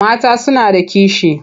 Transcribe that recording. Mata suna da kishi.